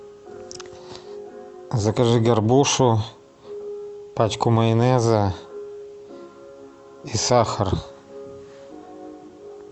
закажи горбушу пачку майонеза и сахар